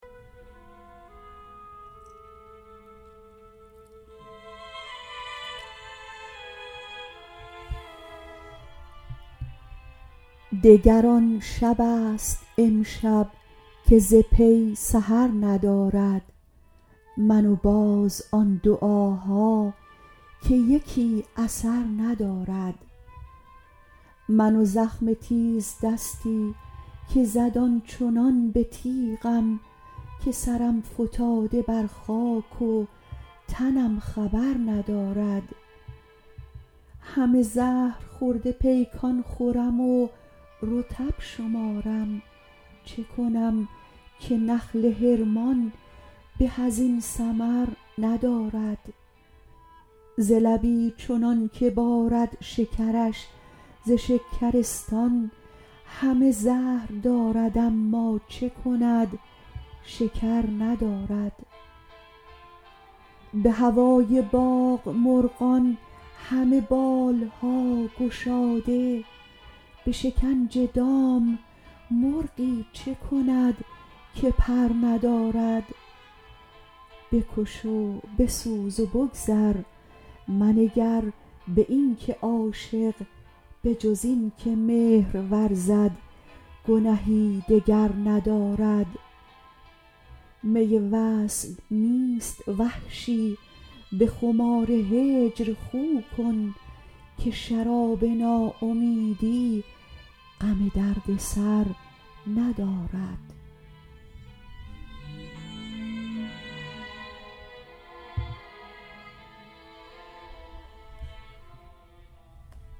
دگر آن شبست امشب که ز پی سحر ندارد من و باز آن دعاها که یکی اثر ندارد من و زخم تیزدستی که زد آنچنان به تیغم که سرم فتاده بر خاک و تنم خبر ندارد همه زهرخورده پیکان خورم و رطب شمارم چه کنم که نخل حرمان به از این ثمر ندارد ز لبی چنان که بارد شکرش ز شکرستان همه زهر دارد اما چه کند شکر ندارد به هوای باغ مرغان همه بال ها گشاده به شکنج دام مرغی چه کند که پر ندارد بکش و بسوز و بگذر منگر به این که عاشق بجز این که مهر ورزد گنهی دگر ندارد می وصل نیست وحشی به خمار هجر خو کن که شراب ناامیدی غم درد سر ندارد